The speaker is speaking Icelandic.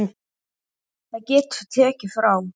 Það getur tekið frá